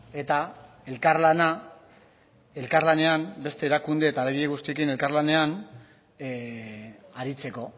eta elkarlana elkarlanean beste erakunde eta guztiekin elkarlanean aritzeko